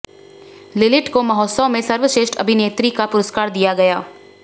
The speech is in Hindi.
लिलिट को महोत्सव में सर्वश्रेष्ठ अभिनेत्री का पुरस्कार दिया गया